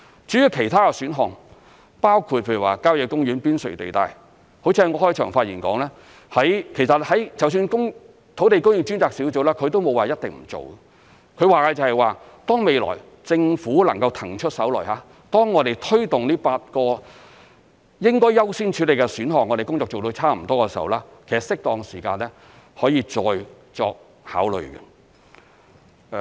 至於其他的土地供應選項，包括譬如說郊野公園邊陲地帶，好像我在開場發言所說，其實土地供應專責小組也沒有說一定不做，它說的是當未來政府能夠騰出手來，當我們推動這8個應該優先處理的選項，工作做得差不多的時候，適當時間可以再作考慮。